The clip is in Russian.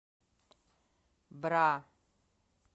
бра